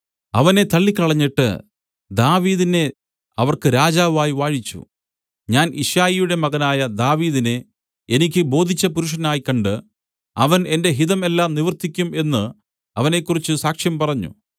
അവനെ തള്ളിക്കളഞ്ഞിട്ട് ദാവീദിനെ അവർക്ക് രാജാവായി വാഴിച്ചു ഞാൻ യിശ്ശായിയുടെ മകനായ ദാവീദിനെ എനിക്ക് ബോധിച്ച പുരുഷനായി കണ്ട് അവൻ എന്റെ ഹിതം എല്ലാം നിവർത്തിയ്ക്കും എന്ന് അവനെക്കുറിച്ച് സാക്ഷ്യം പറഞ്ഞു